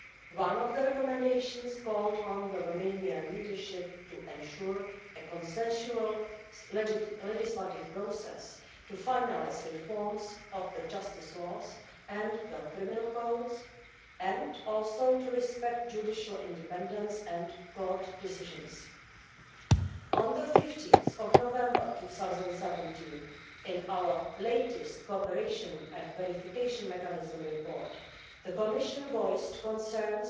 One of the recommendations called on the Romanian leadership to ensure a consensual legislative process, to finalise reforms of the justice laws and the criminal codes, and also to respect judicial independence and court decisions. On 15 November 2017, in our latest Cooperation and Verification Mechanism report, the Commission voiced concerns